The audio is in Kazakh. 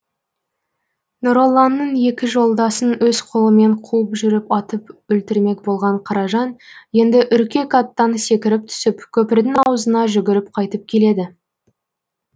нұролланың екі жолдасын өз қолымен қуып жүріп атып өлтірмек болған қаражан енді үркек аттан секіріп түсіп көпірдің аузына жүгіріп қайтып келеді